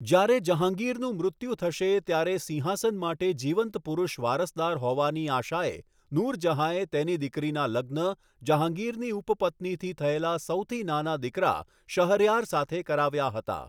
જ્યારે જહાંગીરનું મૃત્યુ થશે ત્યારે સિંહાસન માટે જીવંત પુરુષ વારસદાર હોવાની આશાએ, નૂર જહાંએ તેની દીકરીના લગ્ન જહાંગીરની ઉપપત્નીથી થયેલા સૌથી નાના દીકરા શહરયાર સાથે કરાવ્યા હતા.